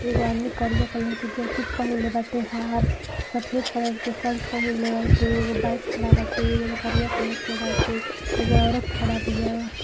एगो आदमी करिया कलर के जैकिट पहीनले बाटे हाफ । सफेद कलर के सल्ट पहीनले बाटे। एगो बईक खड़ा बाटे जौन करिया कलर के बाटे। एगो औरत खड़ा बिया।